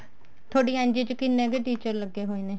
ਥੋਡੀ NGO ਚ ਕਿੰਨੇ teacher ਲੱਗੇ ਹੋਏ